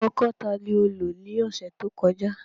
Ọ́kọ ta ni o lo ni ọsẹ to kọja?